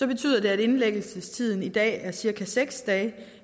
betydet at indlæggelsestiden i dag er cirka seks dage